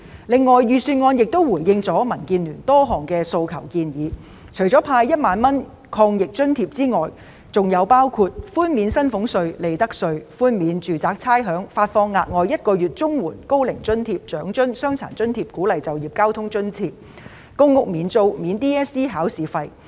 此外，預算案亦回應了民建聯提出的多項訴求和建議，除了派發1萬元抗疫津貼外，還寬免薪俸稅、利得稅和差餉；發放額外1個月綜援、高齡津貼、長者生活津貼、傷殘津貼及鼓勵就業交通津貼；向公屋住戶提供免租，以及豁免 DSE 考試費。